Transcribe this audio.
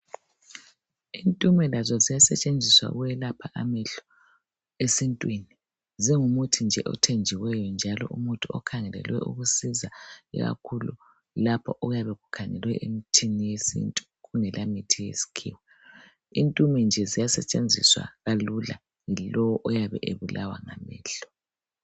Intume lazo ziyasetshenziswa ukwelapha amehlo esintwini. Zingumuthi nje othenjiweyo, njalo umuthi okhangelelwe ukusiza ikakhulu lapho okuyabe kukhangelelwe emithini yesintu. Kungelamithi yesikhiwa. Intume nje ziyasetshenziswa kalula, ngulowo oyabe ebulawa ngamehlo.